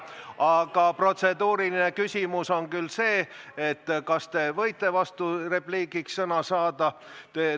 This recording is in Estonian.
Aga protseduuriline küsimus on küll see, kas te võite vasturepliigiks sõna saada.